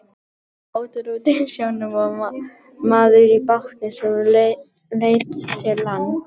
Það var bátur úti á sjónum og maður í bátnum sem leit til lands.